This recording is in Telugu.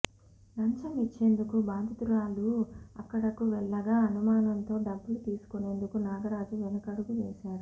లంచం ఇచ్చేందుకు బాధితురాలు అక్కడకు వెళ్లగా అనుమానంతో డబ్బులు తీసుకునేందుకు నాగరాజు వెనకడుగు వేశాడు